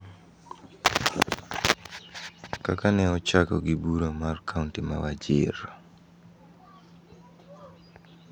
kaka ne ochako gi Bura mar kaonti ma Wajir.